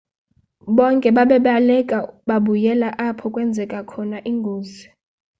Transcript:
bonke babaleka babuyela apho kwenzeke khona ingozi